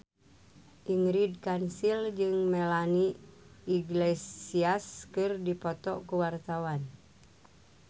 Ingrid Kansil jeung Melanie Iglesias keur dipoto ku wartawan